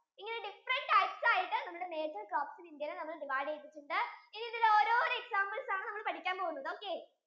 ഇനി ഒരു different types ആയിട്ടു major crops in ഇന്ത്യ നെ divide ചെയ്‌തട്ടുണ്ട് ഇനി ഇതിലെ ഓരോരോ examples ആണ് നമ്മൾ പാടിക്കാൻ പോകുന്നത് okay